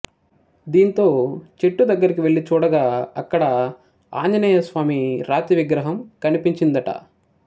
దీంతో చెట్టు దగ్గరకి వెళ్లి చూడగా అక్కడ ఆంజనేయస్వామి రాతి విగ్రహం కనిపించిందట